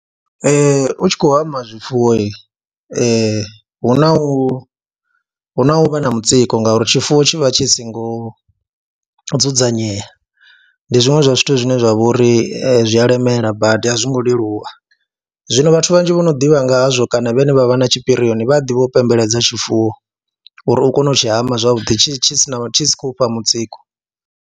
Ee, u tshi khou amba zwifuwo hu na hu na u vha na mutsiko ngauri tshifuwo tshi vha tshi singo dzudzanyea, ndi zwiṅwe zwa zwithu zwine zwa vho ri zwi a lemela badi a zwo ngo leluwa, zwino vhathu vhanzhi vho no ḓivha nga hazwo kana vhane vha vha na tshipirioni vha a ḓivha u pembeledza tshifuwo uri u kone u tshi hama zwavhuḓi tshi si na, tshi si khou fha mutsiko.